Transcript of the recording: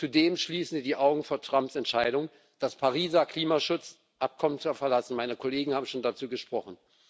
Zudem verschließen Sie die Augen vor Trumps Entscheidung, das Pariser Klimaschutzabkommen zu verlassen meine Kollegen haben schon dazu gesprochen.